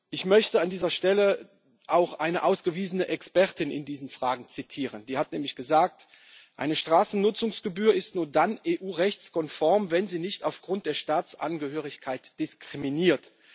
Ich möchte an dieser Stelle auch eine ausgewiesene Expertin in diesen Fragen zitieren, die hat nämlich gesagt Eine Straßennutzungsgebühr ist nur dann EU rechtskonform, wenn sie nicht aufgrund der Staatsangehörigkeit diskriminiert.